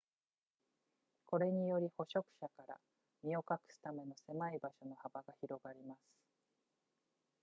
これにより捕食者から身を隠すための狭い場所の幅が広がります